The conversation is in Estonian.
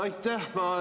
Aitäh!